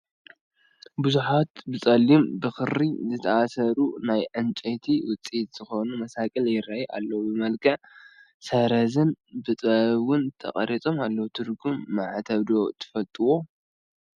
ብዙሓት ብፀሊም ብኽሪ ዝተኣሳሰሩ ናይ ዕንፀይቲ ውፅኢት ዝኾኑ መሳቕል ይራኣዩ ኣለው፡፡ ብመልክዕ ሰረዝን ብጥበብን ውን ተቐሪፆም ኣለው፡፡ ትርጉም ማዕተብ ዶ ትፈልጥዎ?